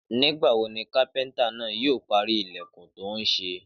Nígbà wo ni kápẹ́ntà náà yóò parí ilẹ̀kùn tó ń ṣe?